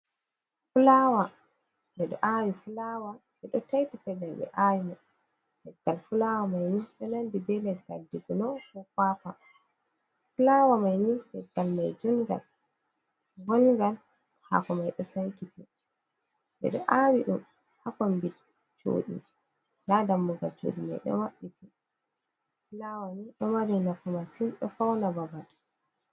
Fulawa. Ɓeɗo awi fulawa, be do taiti pelel be awi man. Leggal fulawa mai ni do nandi be leggal jibino, ko kwakwa. fulawa mai ni leggal mai jungal, ɓongal, hako mai ɗo sankiti, ɓeɗo awi ɗum hakombi coɗi, nda dammugal cuɗi mai do mabbiti. Fulawa ni do mari nafu masin, do fauna babal.